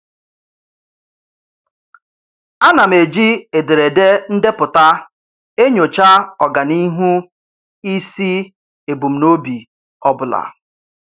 A na m eji ederede ndepụta enyocha ọganihu isi ebumnobi ọbụla.